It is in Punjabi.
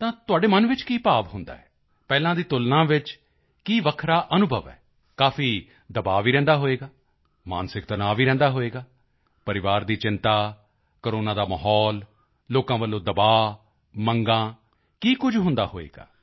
ਤਾਂ ਤੁਹਾਡੇ ਮਨ ਵਿੱਚ ਕੀ ਭਾਵ ਹੁੰਦਾ ਹੈ ਪਹਿਲਾਂ ਦੀ ਤੁਲਨਾ ਵਿੱਚ ਕੀ ਵੱਖਰਾ ਅਨੁਭਵ ਹੋਵੇਗਾ ਕਾਫੀ ਦਬਾਅ ਵੀ ਰਹਿੰਦਾ ਹੋਵੇਗਾ ਮਾਨਸਿਕ ਤਣਾਅ ਰਹਿੰਦਾ ਹੋਵੇਗਾ ਪਰਿਵਾਰ ਦੀ ਚਿੰਤਾ ਕੋਰੋਨਾ ਦਾ ਮਾਹੌਲ ਲੋਕਾਂ ਵੱਲੋਂ ਦਬਾਅ ਮੰਗਾਂ ਕੀ ਕੁਝ ਹੁੰਦਾ ਹੋਵੇਗਾ